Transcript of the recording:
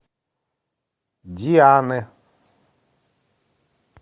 дианы